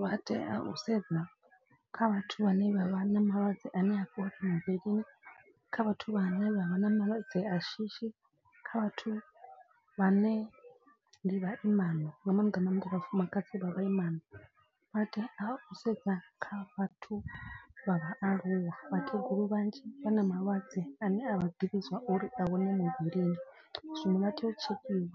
Vha tea u sedza kha vhathu vhane vha vha na malwadze ane ha fhola muvhilini. Kha vhathu vhane vha vha na malwadze a shishi kha vhathu vhane ndi vhaimana. Nga maanḓa maanḓa vhafumakadzi vha vhaimana. Vhateya u sedza kha vhathu vha vhaaluwa vhakegulu vhanzhi vha na malwadze ane a vha ḓivhi zwa uri a hone muvhilini. Zwino vha tea u tshekhiwa